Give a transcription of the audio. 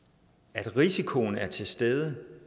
at risikoen er til stede